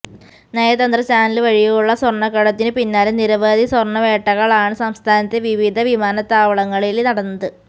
നയതന്ത്ര ചാനല് വഴിയുള്ള സ്വര്ണക്കടത്തിനു പിന്നാലെ നിരവധി സ്വര്ണ വേട്ടകളാണ് സംസ്ഥാനത്തെ വിവിധ വിമാനത്താവളങ്ങളില് നടന്നത്